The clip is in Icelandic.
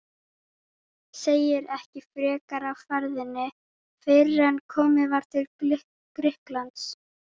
Segir ekki frekar af ferðinni fyrren komið var til Grikklands.